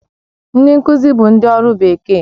Ndị nkuzi bụ ndị ọrụ bekee